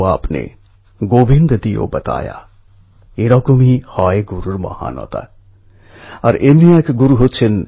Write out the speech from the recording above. এই অ্যাপ এক হিসেবে গ্রামে একরকমের ডিজিট্যাল বিপ্লব আনার কাজ করছে